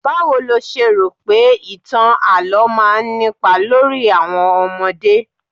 Báwo lo ṣe rò pé ìtàn àlo máa ń nípa lórí àwọn ọmọdé?